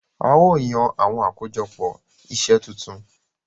A o yàn awọn akojọpọ iṣẹ tuntun.